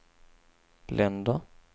länder